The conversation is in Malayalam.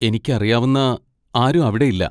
എനിക്കറിയാവുന്ന ആരും അവിടെ ഇല്ല.